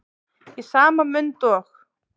Í sama mund og